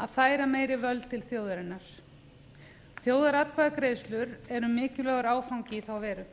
að færa meiri völd til þjóðarinnar þjóðaratkvæðagreiðslur eru mikilvægur áfangi í þá veru